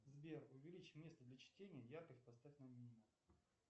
сбер увеличь место для чтения яркость поставь на минимум